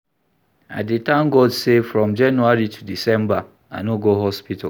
I dey tank God sey from January to December, I no go hospital.